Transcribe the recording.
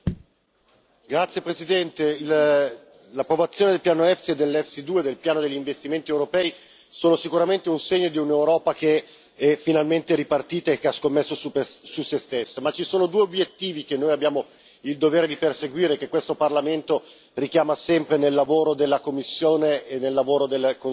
Signora Presidente, onorevoli colleghi, l'approvazione del piano EFSI e dell'EFSI 2, del piano degli investimenti europei, sono sicuramente un segno di un'Europa che è finalmente ripartita e che ha scommesso su se stessa, ma ci sono due obiettivi che noi abbiamo il dovere di perseguire, che questo Parlamento richiama sempre nel lavoro della Commissione e nel lavoro del Consiglio.